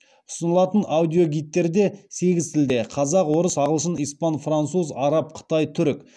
ұсынылатын аудиогидтерде сегіз тілде